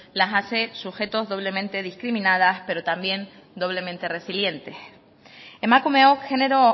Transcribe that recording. las hace sujetos doblemente discriminadas pero también doblemente resilientes emakumeok genero